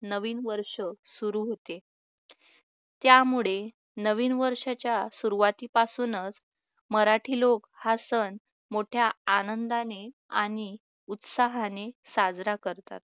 नवीन वर्ष सुरू होते त्यामुळे नवीन वर्षाच्या सुरुवातीपासून होणार मराठी लोक हा सण मोठ्या आनंदाने आणि उत्साहाने साजरा करतात